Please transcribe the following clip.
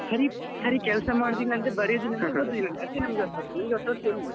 ಸರಿ ಸರಿ ಕೆಲಸ ಮಾಡುವುದಿಲ್ಲ ಅಂದ್ರೆ ಬರಿಯುವುದಿಲ್ಲ ಅಂತೇ ಅದೇ ನಮಗೆ ಹೊಸ ವರ್ಷ ನಮ್ಗೆ ಹೊಸ ವರ್ಷ ಎಲ್ಲಿ .